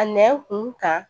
A nɛn kun kan